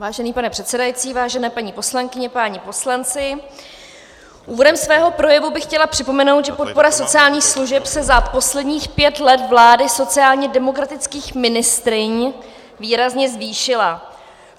Vážený pane předsedající, vážené paní poslankyně, páni poslanci, úvodem svého projevu bych chtěla připomenout, že podpora sociálních služeb se za posledních pět let vlády sociálně demokratických ministryň výrazně zvýšila.